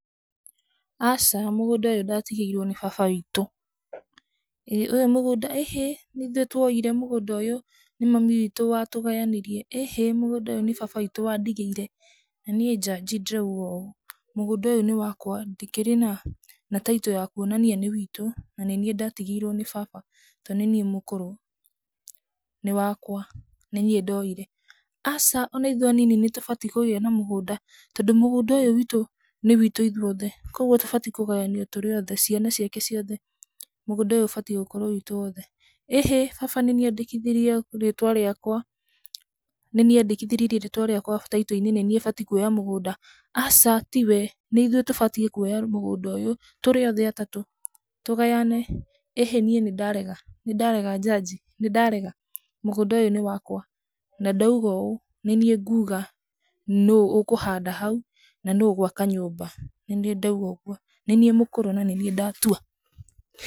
"Aca mũgũnda ũyũ ndatigĩirwo nĩ baba witũ. ĩ ũyũ mũgũnda," "ĩhĩ, nĩ ithuĩ twoire mũgũnda ũyũ, nĩ mami witũ wa tũgayanirie." "ĩhĩ mũgũnda ũyũ nĩ baba witũ wa ndigĩire na niĩ njanji ndĩrauga ũũ, mũgũnda ũyũ nĩ wakwa. Ndíikĩra na taito ya kũonania nĩ witũ na nĩ niĩ ndatigĩirwo nĩ baba, tondũ nĩ niĩ mũkũrũ. Nĩ wakwa. Nĩ niĩ ndoire." "Aca o na ithuĩ anini nĩ tũbatiĩ kũgĩa na mũgũnda tondũ mũgũda ũyũ witũ nĩ witũ ithuothe. Kwoguo tũbatiĩ kũgayanio tũrĩ othe, ciana ciake ciothe, mũgũnda ũyũ ũbatiĩ gũkorwo witũ wothe." "ĩhĩ baba nĩ niĩ andĩkithirie rĩtwa rĩakwa. Nĩ niĩ andĩkithirie rĩtwa rĩakwa taito-inĩ, nĩ niĩ batiĩ kũoya mũgũnda." "Aca ti we. Nĩ ithuĩ tũbatiĩ kũoya mũgũnda ũyũ tũrĩothe atatũ tũgayane." ĩhĩ niĩ nĩ ndarega, nĩ ndarega njanji, nĩ ndarega. Mũgũnda ũyũ nĩ wakwa na ndauga ũũ, nĩ niĩ nguuga nũ ũkũhanda hau, na nũ ũgũaka nyũmba, nĩ niĩ ndauga ũguo. Nĩ niĩ mũkũrũ na nĩ niĩ ndatua!"